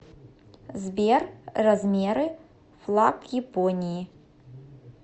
сбер размеры флаг японии